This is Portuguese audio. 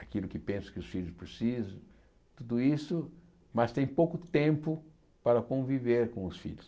aquilo que pensa que os filhos precisam, tudo isso, mas tem pouco tempo para conviver com os filhos.